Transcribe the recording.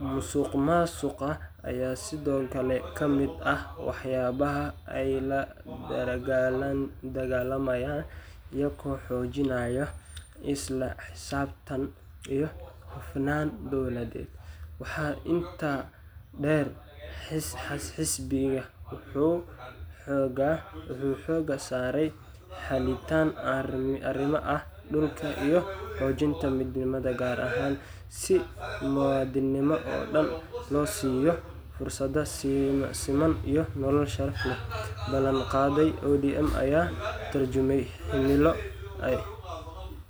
Musuqmaasuqa ayaa sidoo kale ka mid ah waxyaabaha ay la dagaallamayaan, iyagoo xoojinaya isla xisaabtan iyo hufnaan dowladeed. Waxaa intaa dheer, xisbiga wuxuu xoogga saaraya xallinta arrimaha dhulka iyo xoojinta midnimada qaran, si muwaadiniinta oo dhan loo siiyo fursado siman iyo nolol sharaf leh. Ballanqaadyada ODM ayaa ka tarjumaya himiloay.